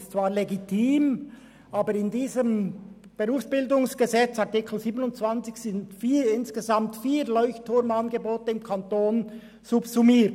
Das ist zwar legitim, aber in Artikel 27 BerG sind insgesamt vier LeuchtturmAngebote im Kanton subsummiert: